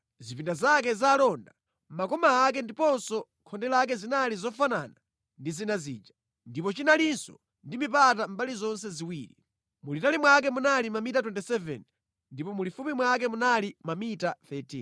Zipinda zake za alonda, makoma ake ndiponso khonde lake zinali zofanana ndi zina zija, ndipo chinalinso ndi mipata mbali zonse ziwiri. Mulitali mwake munali mamita 27 ndipo mulifupi mwake munali mamita 13.